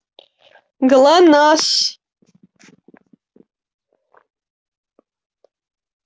глонассс